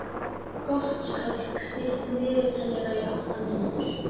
Gottskálk, stilltu niðurteljara á átta mínútur.